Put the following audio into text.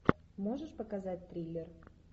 можешь показать триллер